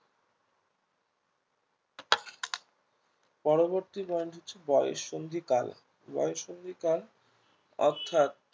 পরবর্তী point হচ্ছে বয়ঃসন্ধি কাল বয়ঃসন্ধি কাল অর্থাৎ